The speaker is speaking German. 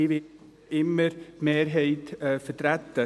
Ich werde wie immer die Mehrheit vertreten.